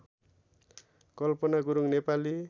Kalpana Gurung Nepali